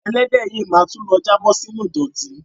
Ẹlẹ́dẹ̀ yìí ma tún lọ jábọ̀ sínú ìdọ̀tí.